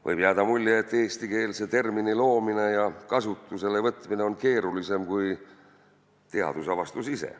Võib jääda mulje, et eestikeelse termini loomine ja kasutuselevõtmine on keerulisem kui teadusavastus ise.